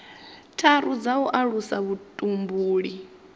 tharu dza u alusa vhutumbuli